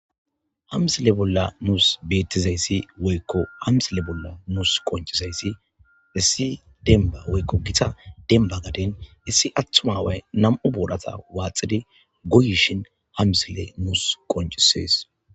Ha misilee bolla nuus beeththizayssi woykko ha mislee bolla nuus qonccizayssi issi dembbaa woykko githa dembba gaden issi aththuma away nam7u booratha waaxidi goyishinha mislee nuus qonccissees.